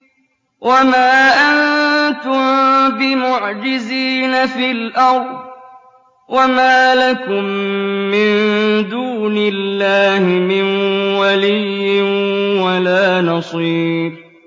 وَمَا أَنتُم بِمُعْجِزِينَ فِي الْأَرْضِ ۖ وَمَا لَكُم مِّن دُونِ اللَّهِ مِن وَلِيٍّ وَلَا نَصِيرٍ